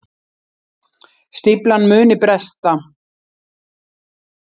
Stíflan muni bresta